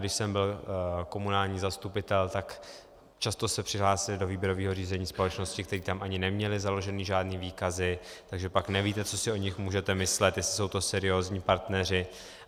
Když jsem byl komunální zastupitel, tak často se přihlásily do výběrového řízení společnosti, které tam ani neměly založeny žádné výkazy, takže pak nevíte, co si o nich můžete myslet, jestli jsou to seriózní partneři.